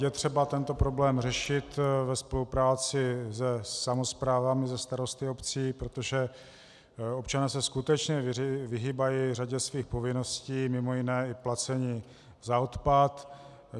Je třeba tento problém řešit ve spolupráci se samosprávami, se starosty obcí, protože občané se skutečně vyhýbají řadě svých povinností, mimo jiné i placení za odpad.